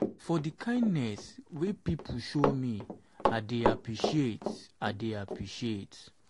for di kindness wey pipo show me i dey appreciate. i dey appreciate.